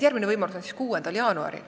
Järgmine võimalus on 6. jaanuaril.